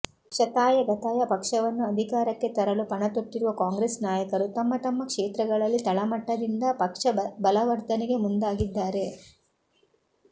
ಶತಾಯಗತಾಯ ಪಕ್ಷವನ್ನು ಅಧಿಕಾರಕ್ಕೆ ತರಲು ಪಣತೊಟ್ಟಿರುವ ಕಾಂಗ್ರೆಸ್ ನಾಯಕರು ತಮ್ಮ ತಮ್ಮ ಕ್ಷೇತ್ರಗಳಲ್ಲಿ ತಳಮಟ್ಟದಿಂದ ಪಕ್ಷ ಬಲವರ್ದನೆಗೆ ಮುಂದಾಗಿದ್ದಾರೆ